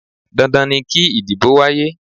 Dandan ni kí ìdìbò wáyé.